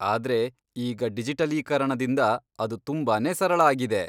ಆದ್ರೆ ಈಗ ಡಿಜಿಟಲೀಕರಣದಿಂದ ಅದು ತುಂಬಾನೇ ಸರಳ ಆಗಿದೆ.